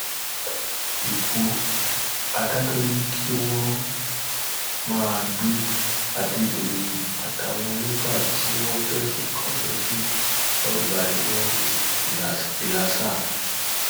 ikú adájọ ni kí wọn máa gbé adédọyìn àtàwọn mẹfà tí wọn fẹsùn kàn lọ sí ọgbà ẹwọn ìlasa